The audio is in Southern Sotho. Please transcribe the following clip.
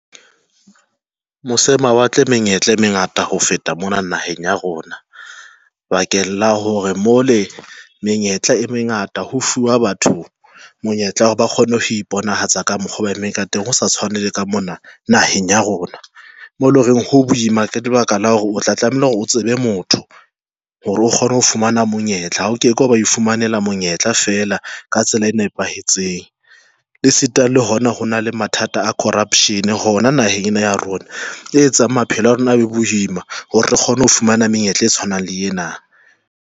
Mose mawatle menyetla e mengata ho feta mona naheng ena ya rona bakeng la hore mole menyetla e mengata ho fuwa batho monyetla hore ba kgone ho iponahatsa ka mokgo ba e emeng ka teng. Ho sa tshwane le ka mona naheng ya rona mo loreng ho boima ka lebaka la hore o tla tlameha hore o tsebe motho hore o kgone ho fumana monyetla. O ke ke wa ba ifumanela monyetla fela ka tsela e nepahetseng. E sita le hona ho na le mathata a corruption hona naheng ena ya rona e etsang maphelo a rona abe boima. Hore re kgone ho fumana menyetla e tshwanang le ena.